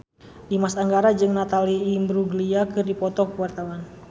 Dimas Anggara jeung Natalie Imbruglia keur dipoto ku wartawan